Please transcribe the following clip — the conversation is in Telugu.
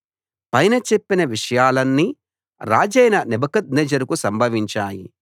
పైన చెప్పిన విషయాలన్నీ రాజైన నెబుకద్నెజరుకు సంభవించాయి